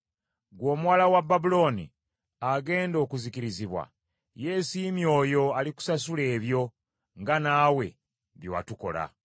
Ggwe omuwala wa Babulooni, agenda okuzikirizibwa, yeesiimye oyo alikusasula ebyo nga naawe bye watukola.